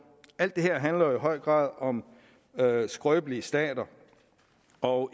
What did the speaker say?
alt det her handler i høj grad om skrøbelige stater og